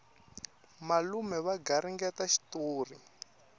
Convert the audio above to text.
malume va garingeta xitori